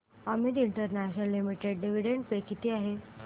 Amit international limited dividend pay किती आहे